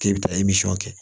K'e bɛ taa kɛ